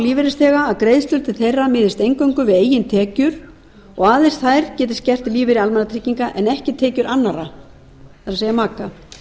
lífeyrisþega að greiðslur til þeirra miðist eingöngu við eigin tekjur og aðeins þær geti skert lífeyri almannatrygginga en ekki tekjur annarra það er maka